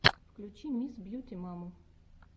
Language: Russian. включи мисс бьюти маму